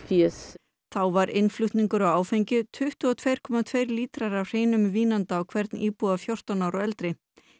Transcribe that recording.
þá var innflutningur á áfengi tuttugu og tvö komma tveir lítrar af hreinum vínanda á hvern íbúa fjórtán ára og eldri